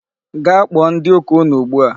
Gaa kpọọ ndị ụka unu ugbu a!